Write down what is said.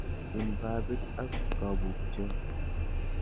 In babit ak kabukchot.